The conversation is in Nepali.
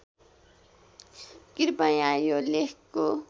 कृपया यो लेखको